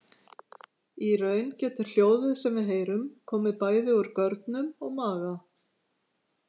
Í raun getur hljóðið sem við heyrum komið bæði úr görnum og maga.